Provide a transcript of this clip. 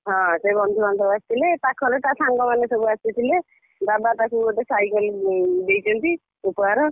ହଁ ସେଇ ବନ୍ଧୁବାନ୍ଧବ ଆସିଥିଲେ ପାଖରେ ତା ସାଙ୍ଗ ମାନେ ସବୁ ଆସିଥିଲେ। ବାବା ତାକୁ ଗୋଟେ cycle ଦେଇଛନ୍ତି ଉପହାର।